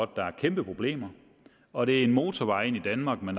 der er kæmpe problemer og det er en motorvej ind i danmark med